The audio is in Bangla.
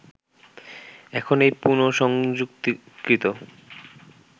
এখন এই পুনঃসংযুক্তিকৃত